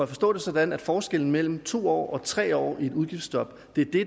forstå det sådan at forskellen mellem to år og tre år i et udgiftsstop